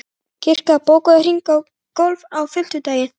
Kira, bókaðu hring í golf á fimmtudaginn.